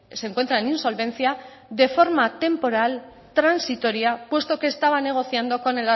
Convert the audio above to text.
se encuentra en insolvencia de forma temporal transitoria puesto que estaba negociando